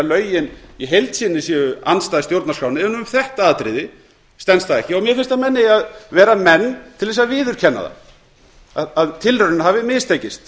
lögin í heild sinni séu andstæð stjórnarskránni en um þetta atriði standast þau ekki mér finnst að menn eigi að vera menn til þess að viðurkenna að tilraunin hafi mistekist